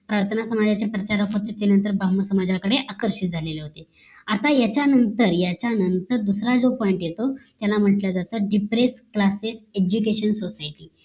प्रार्थना समाजाचे सत्याग्रह त्याच्या नंतर ब्राम्हण समाजाकडे आकर्षित झालं होते आता याच्या नंतर याच्या नंतर दुसरा जो point येतो त्याला म्हटलं जात depress classes education society